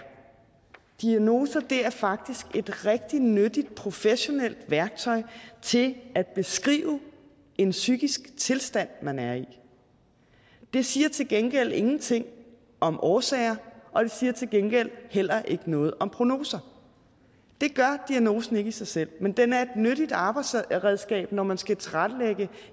diagnoser er faktisk et rigtig nyttigt professionelt værktøj til at beskrive en psykisk tilstand man er i de siger til gengæld ingenting om årsager og de siger til gengæld heller ikke noget om prognoser det gør diagnosen ikke i sig selv men den er et nyttigt arbejdsredskab når man skal tilrettelægge